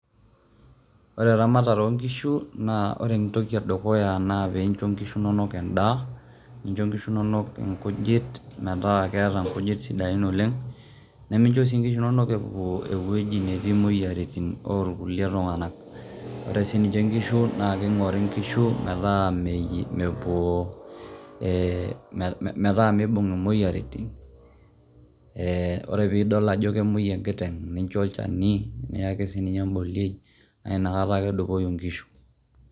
Ore eramatare onkishu, na ore entoki edukuya naa pincho inkishu inonok endaa, nincho nkishu inonok inkujit metaa keeta inkujit sidain oleng' nemeisho si inkishu inonok epuo ewuji netii imoyiaritin okulie tunganak, ore si inkishu na kingori nkishu meta mepuo ee eeh meeta mibung' imoyiaritin, eeh ore piidol ajo kemuoi enkiteng' nincho olchani niyaki sininye embolioi, nakata ake edupoyu inkishu.